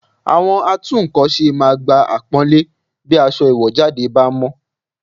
Àwọn atúnkọ̀ṣe máa gba àpọ́nlé bí aṣọ ìwọ̀jáde bá mọ́